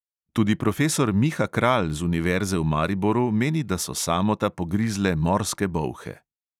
Tudi profesor miha kralj z univerze v mariboru meni, da so samota pogrizle morske bolhe.